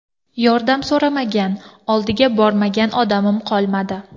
Yordam so‘ramagan, oldiga bormagan odamim qolmadi.